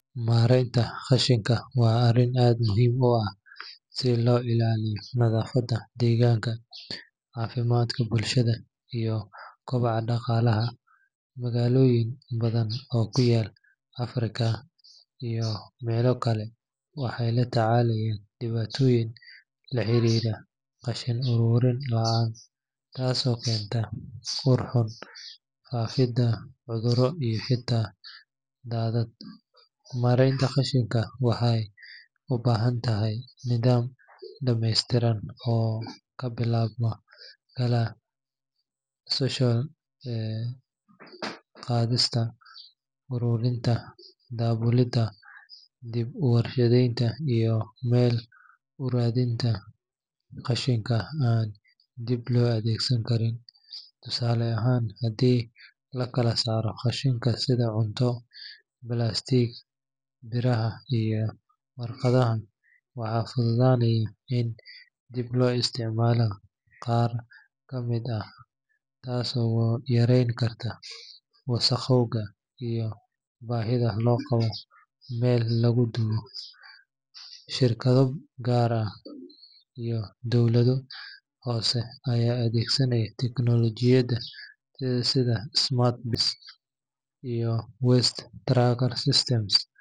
Maareynta qashinka waa arrin aad muhiim u ah si loo ilaaliyo nadaafadda deegaanka, caafimaadka bulshada, iyo kobaca dhaqaalaha. Magaalooyin badan oo ku yaal Afrika iyo meelo kale waxay la tacaalayaan dhibaatooyin la xiriira qashin ururin la’aan, taasoo keenta ur xun, faafidda cudurro iyo xitaa daadad. Maareynta qashinka waxay u baahan tahay nidaam dhammeystiran oo ka bilaabma kala soocidda qashinka, ururinta, daabulidda, dib-u-warshadaynta iyo meel-u-raadinta qashinka aan dib loo adeegsan karin. Tusaale ahaan, haddii la kala saaro qashinka sida cunto, balaastiig, biraha iyo warqadaha, waxaa fududaanaya in dib loo isticmaalo qaar ka mid ah, taasoo yareyn karta wasakhowga iyo baahida loo qabo meel lagu qubo. Shirkado gaar ah iyo dowlado hoose ayaa adeegsanaya tiknoolajiyada sida smart bins iyo waste tracking systems.